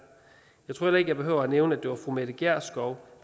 jeg tror heller ikke jeg behøver at nævne at det var fru mette gjerskov